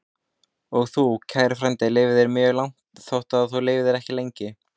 Og þú, kæri frændi, lifðir mjög langt, þótt þú lifðir ekki lengi.